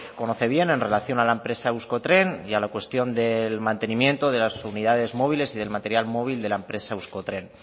conoce bien en relación a la empresa euskotren y a la cuestión del mantenimiento de las unidades móviles y del material móvil de la empresa euskotren